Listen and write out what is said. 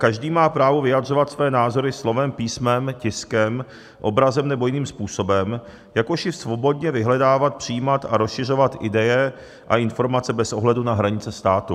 Každý má právo vyjadřovat své názory slovem, písmem, tiskem, obrazem nebo jiným způsobem, jakož i svobodně vyhledávat, přijímat a rozšiřovat ideje a informace bez ohledu na hranice státu.